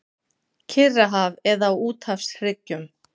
Kyrrahaf eða á úthafshryggjum.